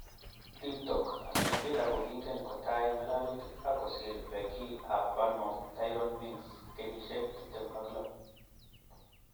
(Teamtalk) Aston Villa kokingeni kotai ngalalutik ak kosir Beki ab Bournemouth Tyrone Mings,26.